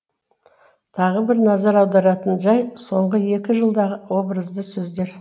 тағы бір назар аударатын жай соңғы екі жылдағы образды сөздер